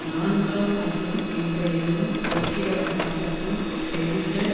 நான்காம் அகிலம் இன்றைய தினம் புரட்சிகர மாற்றின் செறிந்த